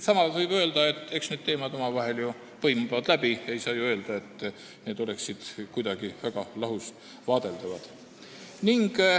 Samas võib öelda, et eks need teemad omavahel ju põimuvad, ei saa öelda, et need oleksid kuidagi lahus vaadeldavad.